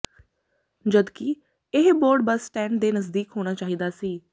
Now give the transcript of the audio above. ਜਦਕਿ ਇਹ board bus stand ਦੇ ਨਜ਼ਦੀਕ ਹੋਣਾ ਚਾਹੀਦਾ ਸੀ